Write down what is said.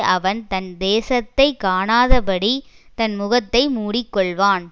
அவன் தன் தேசத்தை காணாதபடி தன் முகத்தை மூடிக்கொள்வான்